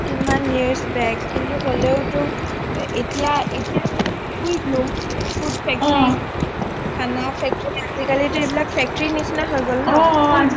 কিমান years back কিন্তু হলেও টো এতিয়া এতিয়া food factory খানা factory আজিকালিটো এই বিলাক factory নিচিনা হৈ গল ন